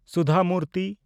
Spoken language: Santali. ᱥᱩᱫᱷᱟ ᱢᱩᱨᱛᱤ